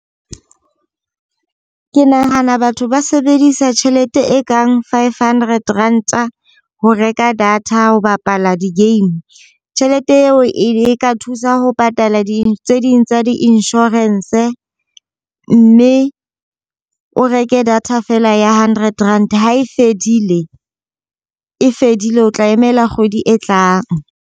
Ke nahana batho ba sebedisa tjhelete e kang five hundred Ranta, ho reka data ho bapala di-game. Tjhelete eo e ka thusa ho patala di tse ding tsa di-insurance, mme o reke data fela ya hundred Rand. Ha e fedile e fedile, o tla emela kgwedi e tlang.